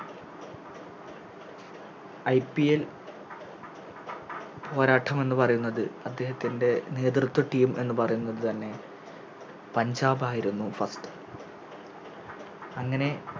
IPL പോരാട്ടം എന്ന് പറയുന്നത് അദേഹത്തിൻറെ നേതൃത്വ Team എന്ന് പറയുന്നതുതന്നെ പഞ്ചാബ് ആയിരുന്നു അങ്ങനെ